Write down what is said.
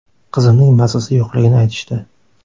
Qizimning mazasi yo‘qligini aytishdi.